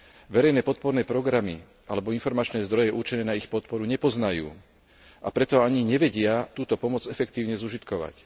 Verejné podporné programy alebo informačné zdroje určené na ich podporu nepoznajú, a preto ani nevedia túto pomoc efektívne zužitkovať.